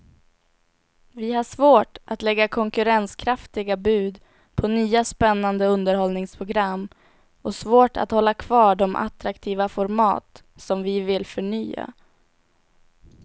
Vi har svårt att lägga konkurrenskraftiga bud på nya spännande underhållningsprogram och svårt att hålla kvar de attraktiva format som vi vill förnya.